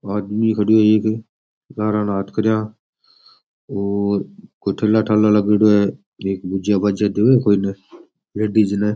आदमी खडेयो एक लारे ने हाथ करिया और कोई ठेला ठाला लगेडो है एक भुजिया भाजिया देवे कोई ने लेडीज ने।